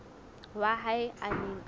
wa hae a neng a